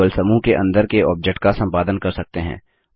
केवल समूह के अंदर के ऑब्जेक्ट का सम्पादन कर सकते हैं